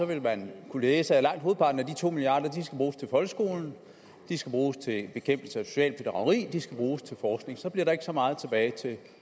vil man kunne læse at langt hovedparten af de to milliard at de skal bruges til bekæmpelse af socialt bedrageri at de skal bruges til forskning så bliver der ikke så meget tilbage til